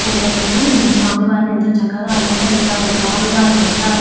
పూలతోటి స్వామివారిని ఎంతో చక్కగా అలంకరించారు స్వామివారి వస్త్రాలు --